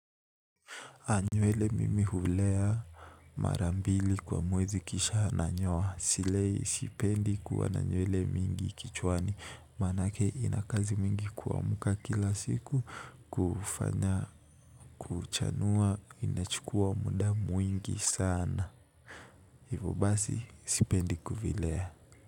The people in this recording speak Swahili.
Nywele mimi hulea mara mbili kwa mwezi kisha nanyoa. Silei sipendi kuona nywele mingi kichwani. Manake inakazi mingi kuamka kila siku kufanya kuchanua inachukua muda mwingi sana. Hivo basi sipendi kuvilea.